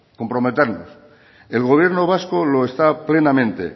comprometernos el gobierno vasco lo está plenamente